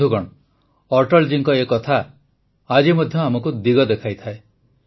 ବନ୍ଧୁଗଣ ଅଟଳ ଜୀଙ୍କ ଏ କଥା ଆଜି ମଧ୍ୟ ଆମକୁ ଦିଗ ଦେଖାଇଥାଏ